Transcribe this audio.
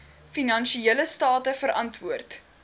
finansiële state verantwoord